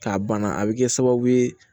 K'a banna a bɛ kɛ sababu ye